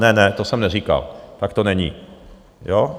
Ne, ne, to jsem neříkal, tak to není, jo?